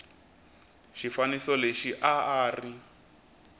xifaniso lexi a a ri